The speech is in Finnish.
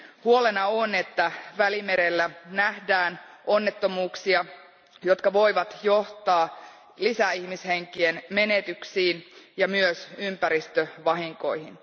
Huolena on, että Välimerellä nähdään onnettomuuksia, jotka voivat johtaa ihmishenkien lisämenetyksiin ja myös ympäristövahinkoihin.